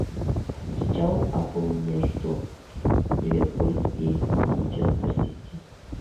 встреча апл между ливерпуль и манчестер сити